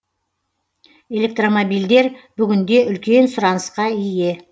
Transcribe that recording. электромобильдер бүгінде үлкен сұранысқа ие